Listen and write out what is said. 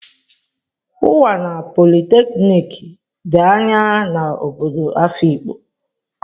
Unwana polytechnic dị anya na obodo Afikpo.